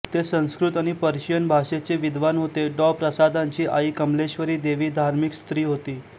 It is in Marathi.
ते संस्कृत आणि पर्शियन भाषेचे विद्वान होते डॉ प्रसादांची आई कमलेश्वरी देवी धार्मिक स्त्री होती